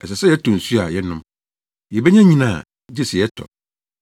Ɛsɛ sɛ yɛtɔ nsu a yɛnom; yebenya nnyina a, gye sɛ yɛtɔ.